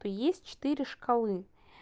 то есть четыре шкалы